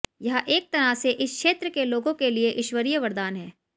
यह एक तरह से इस क्षेत्र के लोगों के लिए ईश्वरीय वरदान है